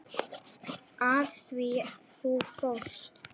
Af því þú fórst.